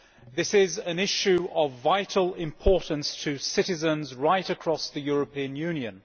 This is an issue of vital importance to citizens right across the European Union.